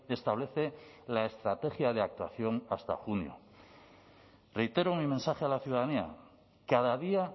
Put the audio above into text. establece la estrategia de actuación hasta junio reitero mi mensaje a la ciudadanía cada día